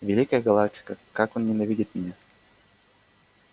великая галактика как он ненавидит меня